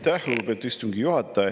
Aitäh, lugupeetud istungi juhataja!